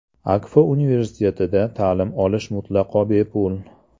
Akfa Universitetida ta’lim olish mutlaqo bepul.